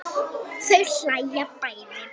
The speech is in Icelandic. Þau hlæja bæði.